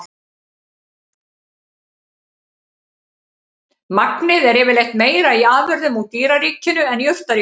Magnið er yfirleitt meira í afurðum úr dýraríkinu en jurtaríkinu.